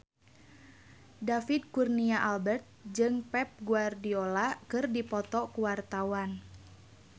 David Kurnia Albert jeung Pep Guardiola keur dipoto ku wartawan